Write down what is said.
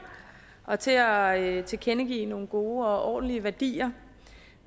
og til at tilkendegive nogle gode og ordentlige værdier